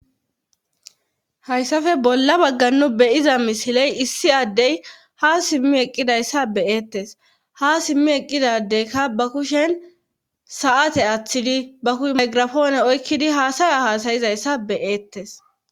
Hayssafe bolla baggannu beyiza misiley issi addey ha simmi eqqidayssa beyeettes ha simmi eqqidadeykka ba kushen sa'ate aththidi ba kushe maygirafoone oykkidi haasaya haasayizayssa beyeettes